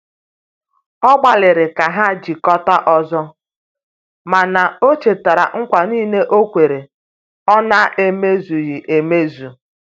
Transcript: Ọ gbaliri ka ha jikota ọzọ, mana o chetara ngwa nile okwere ọ na eme zughi emezụ